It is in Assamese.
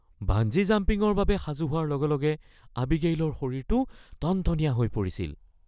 বাঞ্জি জাম্পিংৰ বাবে সাজু হোৱাৰ লগে লগে আবিগেইলৰ শৰীৰটো টনটনীয়া হৈ পৰিছিল